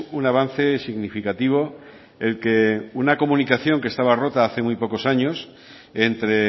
un avance significativo el que una comunicación que estaba rota hace muy pocos años entre